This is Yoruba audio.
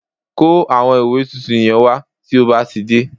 Kó àwọn ìwé tuntun yẹn wá tí ó bá ti dé